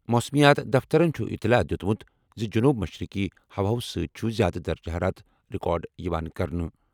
موسمیات دفترَن چھُ اطلاع دِیُتمُت زِ جنوب مشرقی ہواوو سۭتۍ چھُ زیادٕ درجہٕ حرارت رِکارڈ یِوان کرنہٕ۔